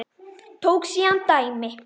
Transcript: Tók síðan dæmi: